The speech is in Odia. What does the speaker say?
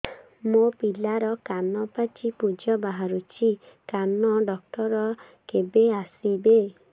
ମୋ ପିଲାର କାନ ପାଚି ପୂଜ ବାହାରୁଚି କାନ ଡକ୍ଟର କେବେ ଆସିବେ